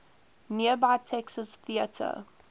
nearby texas theater